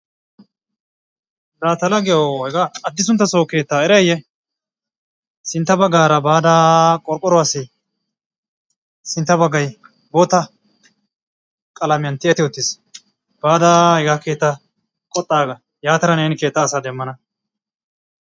Laa ta laggiyawu hegaa addisunttasso keettaa erayiyye? Sintta baggaara baada qorqqoruwassi sintta baggay bootta qalamiyan tiyetti uttis. Baada hegaa keettaa qoxxaagga yaatada neeni keettaa asaa demmana.